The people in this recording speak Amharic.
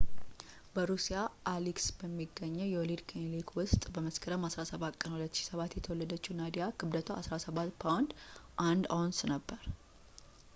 በሩሲያ አሊስክ በሚገኘው የወሊድ ክሊኒክ ውስጥ በመስከረም 17 ቀን 2007 የተወለደችው ናዲያ ክብደቷ 17 ፓውንድ 1 አውንስ ነበር